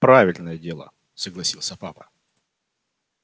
правильное дело согласился папа